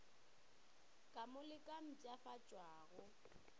ka mo le ka mpshafatšwago